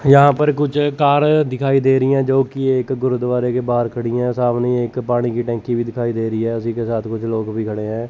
यहां पर कुछ कार दिखाई दे रही है जोकि एक गुरुद्वारे के बाहर खड़ी है सामने एक पानी की टंकी भी दिखाई दे रही है उसी के साथ कुछ लोग भी खड़े हैं।